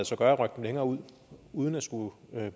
sig gøre at rykke dem længere ud uden at skulle